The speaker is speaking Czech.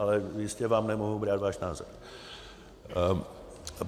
Ale jistě vám nemohu brát váš názor.